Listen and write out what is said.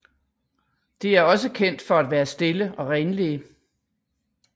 De er også kendt for at være stille og renlige